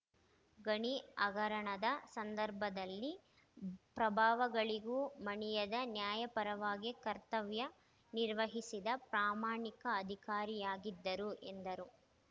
ಗಣಿ ಹಗರಣದ ಸಂದರ್ಭದಲ್ಲಿ ಪ್ರಭಾವಗಳಿಗೂ ಮಣಿಯದೆ ನ್ಯಾಯಪರವಾಗಿ ಕರ್ತವ್ಯ ನಿರ್ವಹಿಸಿದ ಪ್ರಾಮಾಣಿಕ ಅಧಿಕಾರಿಯಾಗಿದ್ದರು ಎಂದರು